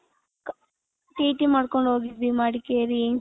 TT ಮಾಡ್ಕೊಂಡ್ ಹೋಗಿದ್ವಿ ಮಡಕೇರಿ .